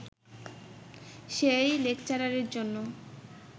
সেই লেকচারের জন্য